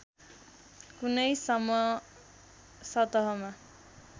कुनै सम्म सतहमा